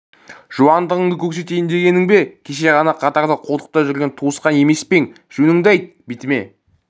жуандығыңды көрсетейін дегенің бе кеше ғана қатарда қолтықта жүрген туысқан емес пе ең жөніңді айт бетіме